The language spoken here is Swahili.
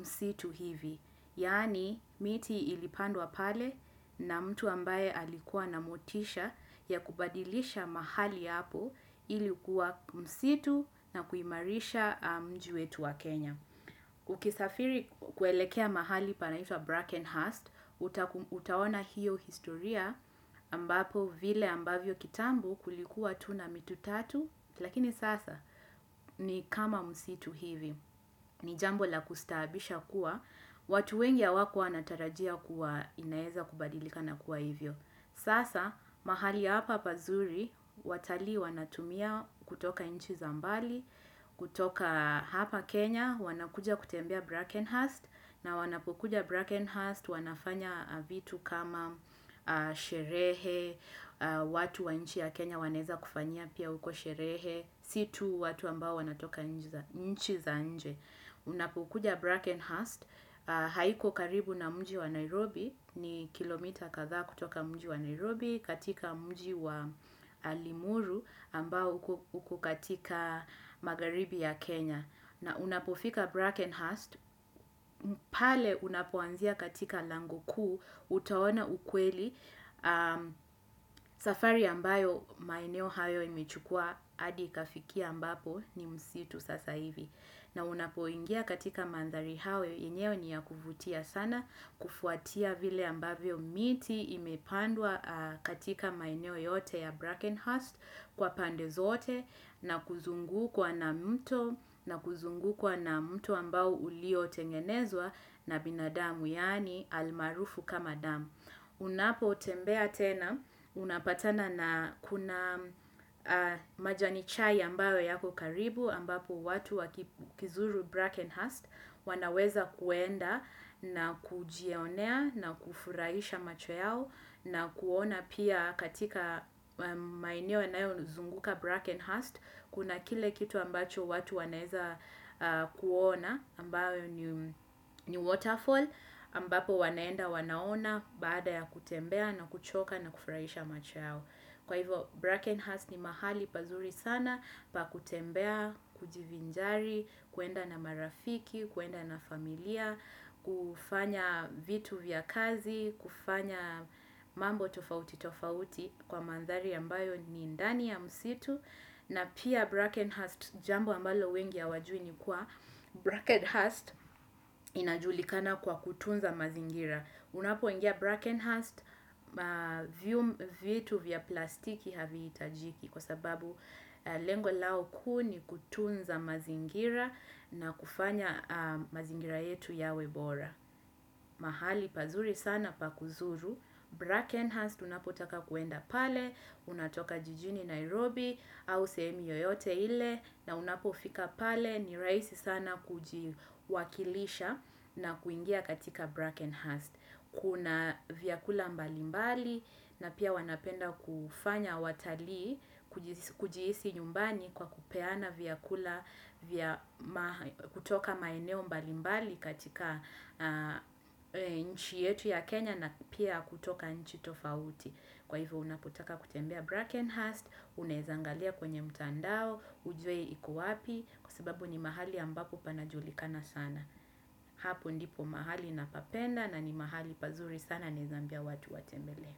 msitu hivi. Yani, miti ilipandwa pale na mtu ambaye alikuwa na motisha ya kubadilisha mahali hapo ilikuwa msitu na kuimarisha mji wetu wa Kenya. Ukisafiri kuelekea mahali panahitwa Brackenhurst, utaona hiyo historia ambapo vile ambavyo kitambo kulikuwa tuna mitu tatu, lakini sasa ni kama msitu hivi. Ni jambo la kustahabisha kuwa, watu wengi hawakua wanatarajia kuwa inaeza kubadilika na kuwa hivyo. Sasa, mahali hapa pazuri, watali wanatumia kutoka inchi za mbali, kutoka hapa Kenya, wanakuja kutembea Brackenhurst, na wanapukuja Brackenhurst, wanafanya vitu kama sherehe, watu wa nchi ya Kenya waneza kufanya pia uko sherehe, si tu watu ambao wanatoka nchi za nje. Unapukuja Brackenhurst, haiko karibu na mji wa Nairobi, ni kilometa katha kutoka mji wa Nairobi, katika mji wa Limuru ambao uko katika magaribi ya Kenya. Na unapofika Brackenhurst, pale unapuanzia katika lango kuu, utaona ukweli safari ambayo maeneo hayo imechukua, hadi ikafikia ambapo ni msitu sasa hivi. Na unapoingia katika mandhari hayo yenyewe ni ya kufutia sana kufuatia vile ambavyo miti imepandwa katika maeneo yote ya Brackenhurst kwa pande zote na kuzungu kwa na mto na kuzungu kwa na mto ambao ulio tengenezwa na binadamu yani almarufu kama damu. Unapo tembea tena, unapatana na kuna majani chai ambayo yako karibu, ambapo watu wakizuru Brackenhurst, wanaweza kuenda na kujionea, na kufurahisha macho yao, na kuona pia katika maeneo yanayo zunguka Brackenhurst. Kuna kile kitu ambacho watu waneza kuona, ambayo ni waterfall, ambapo waneenda wanaona baada ya kutembea na kuchoka na kufuraisha macho yao. Kwa hivo, Brackenhurst ni mahali pazuri sana, pa kutembea, kujivinjari, kuenda na marafiki, kuenda na familia, kufanya vitu vya kazi, kufanya mambo tofauti tofauti kwa mandhari ambayo ni ndani ya msitu. Na pia Brackenhurst jambo ambalo wengi hawajui ni kuwa Brackenhurst inajulikana kwa kutunza mazingira. Unapo ingia Brackenhurst vitu vya plastiki havi itajiki kwa sababu lengo lao kuu ni kutunza mazingira na kufanya mazingira yetu yawebora. Mahali pazuri sana pakuzuru Brackenhurst unapotaka kuenda pale unatoka jijini Nairobi au sehemi yoyote ile na unapofika pale ni raisi sana kujiwakilisha na kuingia katika Brackenhurst kuna vyakula mbalimbali na pia wanapenda kufanya watali kujihisi nyumbani kwa kupeana vyakula kutoka maeneo mbalimbali katika nchi yetu ya Kenya na pia kutoka nchi tofauti. Kwa hivyo unaputaka kutembea Brackenhurst, unazangalia kwenye mtandao, ujwe iko wapi, kwa sababu ni mahali ambapo panajulikana sana. Hapo ndipo mahali napapenda na ni mahali pazuri sana naweza ambia watu watembele.